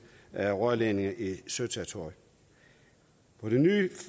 af rørledninger i søterritoriet på det nye